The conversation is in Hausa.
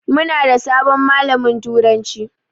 Muna da sabon malamin turanci.